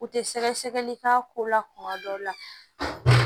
U tɛ sɛgɛ sɛgɛli k'a ko la kuma dɔw la